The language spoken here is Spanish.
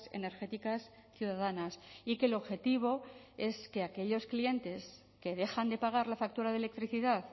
energéticas ciudadanas y que el objetivo es que aquellos clientes que dejan de pagar la factura de electricidad